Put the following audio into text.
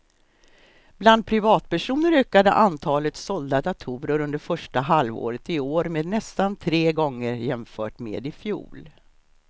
Bland privatpersoner ökade antalet sålda datorer under första halvåret i år med nästan tre gånger jämfört med i fjol.